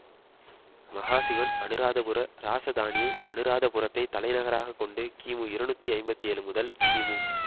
மகாசிவன் அனுராதபுர இராசதானியை அனுராதபுரத்தை தலைநகராகக்கொண்டு கிமு இருநூற்றி ஐம்பத்தி ஏழு முதல் கிமு